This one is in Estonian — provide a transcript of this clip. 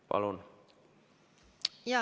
Palun!